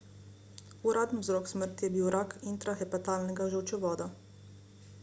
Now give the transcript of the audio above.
uraden vzrok smrti je bil rak intrahepatalnega žolčevoda